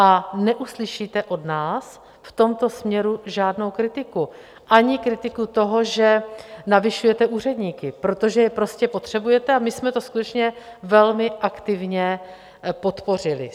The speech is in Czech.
A neuslyšíte od nás v tomto směru žádnou kritiku, ani kritiku toho, že navyšujete úředníky, protože je prostě potřebujete, a my jsme to skutečně velmi aktivně podpořili.